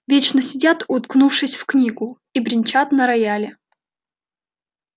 вечно сидят уткнувшись в книгу и бренчат на рояле